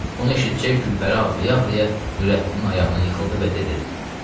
Bunu eşidcək Gülpəri ağlaya-ağlaya Nurəddinin ayağına yıxıldı və dedi: